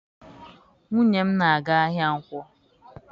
Nwunye m na-aga ahịa Nkwọ.